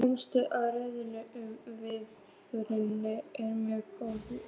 Komst að raun um að viðurinn er mjög góður.